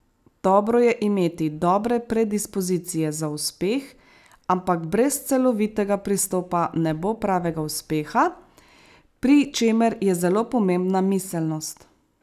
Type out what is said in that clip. Dobro je imeti dobre predispozicije za uspeh, ampak brez celovitega pristopa ne bo pravega uspeha, pri čemer je zelo pomembna miselnost.